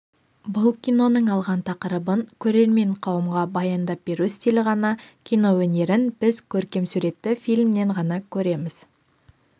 бұл киноның алған тақырыбын көрермен қауымға баяндап беру стилі ғана киноөнерін біз көркемсуретті фильмнен ғана көреміз